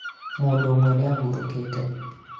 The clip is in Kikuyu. mũndũ ũmwe nĩ ahurũkĩte